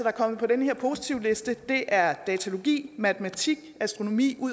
er kommet på den her positivliste er datalogi matematik astronomi